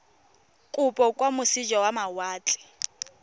kopo kwa moseja wa mawatle